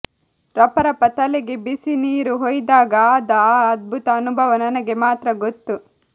ರಪ ರಪ ತಲೆಗೆ ಬಿಸಿ ನೀರು ಹೊಯ್ದಾಗ ಆದ ಆ ಅದ್ಭುತ ಅನುಭವ ನನಗೆ ಮಾತ್ರ ಗೊತ್ತು